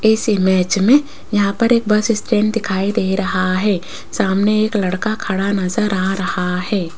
इस इमेज में यहां पर एक बस स्टैंड दिखाई दे रहा है सामने एक लड़का खड़ा नजर आ रहा है।